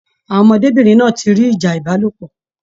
Àwọn ọmọdébinrin náa tí rí ìjà ìbálòpọ̀.